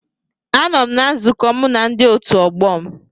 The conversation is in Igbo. Anọ m na nzukọ mụ na ndi otu ọgbọ m